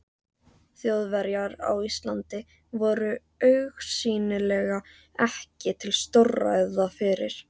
Þjóðverjar á Íslandi voru augsýnilega ekki til stórræða fyrir